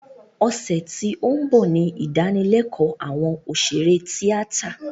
Ọ̀sẹ̀ tí ó ń bọ̀ ni ìdánilékòó àwọn òṣèré tíátà